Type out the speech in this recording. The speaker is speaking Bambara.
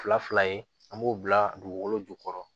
Fila fila ye an b'o bila dugukolo jukɔrɔ